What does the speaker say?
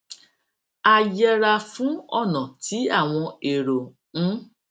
a yẹra fún ònà tí àwọn èrò ń